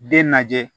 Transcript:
Den lajɛ